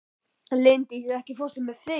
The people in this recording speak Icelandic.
Linddís, ekki fórstu með þeim?